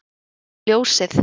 um ljósið